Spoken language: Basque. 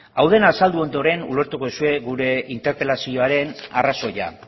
hau dena azaldu ondoren ulertuko duzue gure interpelazioaren arrazoia